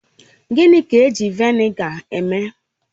Gịnị ka eji Vị́nịga eme?